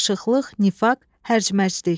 Qarışıqlıq, nifaq, hərc-mərclik.